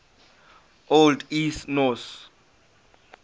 old east norse